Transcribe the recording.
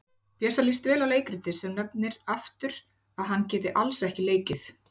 Bjössa líst vel á leikritið en nefnir aftur að hann geti alls ekki leikið.